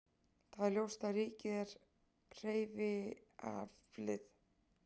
Það er ljóst að ríkið er hreyfiaflið.